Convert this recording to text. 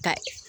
Ka